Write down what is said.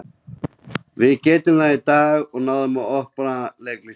Við gerðum það í dag og náðum að opna Leiknismennina.